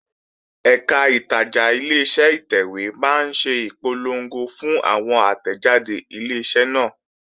Ẹ̀kà ìtajà Ileṣẹ́ ìtẹ̀wé máa ń ṣe ìpolongo fún àwọn àtẹ̀jáde Ileṣẹ́ náà